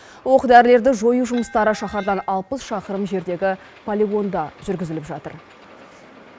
оқ дәрілерді жою жұмыстары шаһардан алпыс шақырым жердегі полигонда жүргізіліп жатыр